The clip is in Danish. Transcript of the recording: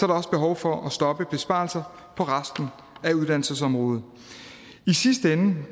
der også behov for at stoppe besparelser på resten af uddannelsesområdet i sidste ende